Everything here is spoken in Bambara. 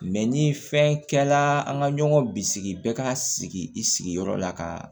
ni fɛn kɛla an ka ɲɔgɔn bisigi bɛɛ ka sigi i sigiyɔrɔ la ka